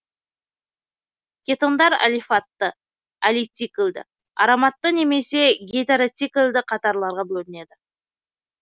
кетондар алифатты алициклді ароматты немесе гетероциклді қатарларға бөлінеді